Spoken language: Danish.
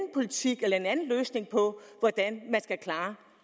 politik eller en anden løsning på hvordan man skal klare